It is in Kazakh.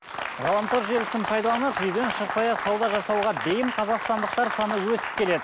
ғаламтор желісін пайдаланып үйден шықпай ақ сауда жасауға бейім қазақстандықтар саны өсіп келеді